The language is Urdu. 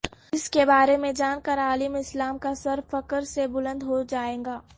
اس کے بارے میںجان کر عالم اسلام کا سر فخرسے بلند ہوجائے گا